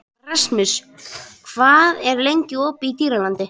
Rasmus, hvað er lengi opið í Dýralandi?